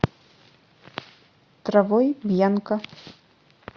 травой бьянка